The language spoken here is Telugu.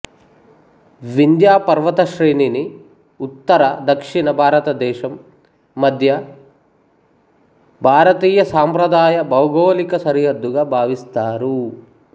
వింధ్యపర్వతశ్రేణిని ఉత్తర దక్షిణ భారతదేశం మధ్య భారతీయసాంప్రదాయ భౌగోళిక సరిహద్దుగా భావిస్తారు